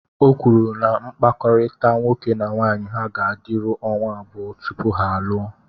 O kwuru na mkpakọrịta nwoke na nwaanyị ha ga-adịru ọnwa abụọ tupu ha alụọ